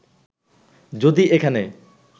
যদি এখানে